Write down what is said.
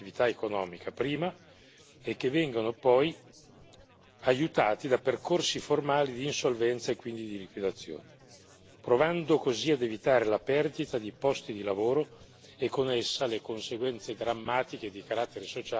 e che vengano poi aiutati da percorsi formali di insolvenza e quindi di liquidazione, provando così ad evitare la perdita di posti di lavoro e, con essa, le conseguenze drammatiche di carattere sociale che spesso ha.